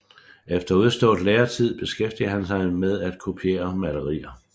Efter udstaaet Læretid beskæftigede han sig med at kopiere Malerier